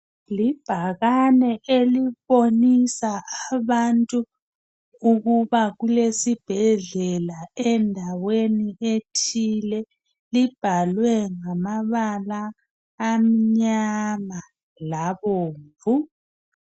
Ibhakane elibonisa abantu ukuba kulesibhedlela endaweni ethile. Libhalwe ngamabala amnyama labomvu.